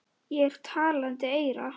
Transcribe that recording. Ég er talandi eyra.